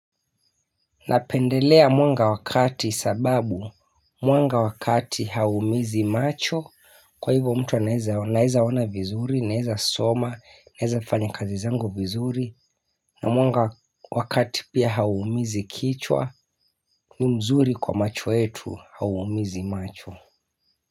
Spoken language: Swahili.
Napendelea mwanga wakati sababu, mwanga wakati haumizi macho, kwa hivyo mtu nawezaona viizuri, naweza soma, naweza fanya kazi zangu vizuri na mwanga wakati pia haumizi kichwa, ni mzuri kwa macho yetu, haumizi macho.